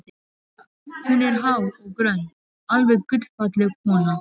Hún er há og grönn, alveg gullfalleg kona.